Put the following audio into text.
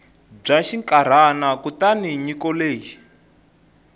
bya xinkarhana kutani nyiko leyi